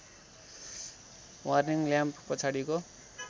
warning lamp पछाडिको